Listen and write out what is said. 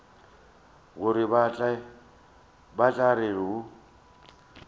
gore ba tla re go